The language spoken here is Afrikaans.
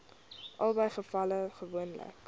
albei gevalle gewoonlik